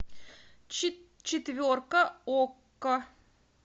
четверка окко